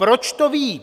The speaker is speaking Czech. Proč to vím?